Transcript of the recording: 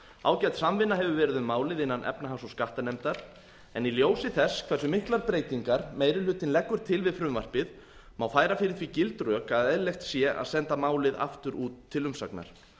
ágæt samvinna hefur verið um málið innan efnahags og skattanefndar en í ljósi þess hversu miklar breytingar meiri hlutinn leggur til við frumvarpið má færa fyrir því gild rök að eðlilegt sé að senda málið aftur út til umsagnar